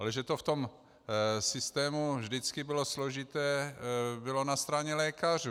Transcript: Ale že to v tom systému vždycky bylo složité, bylo na straně lékařů.